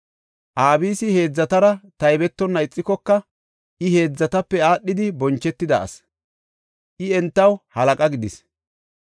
Abisi heedzatara taybetonna ixikoka, I heedzatape aadhidi bonchetida asi; I entaw halaqa gidis.